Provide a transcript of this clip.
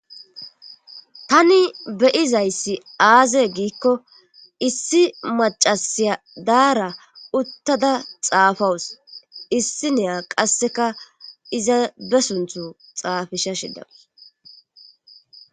Tani beyizayssi aaze giikko issi macasiya daara uttada xaafawus issi neya qasseka iza be sunthu xaafisha shidawus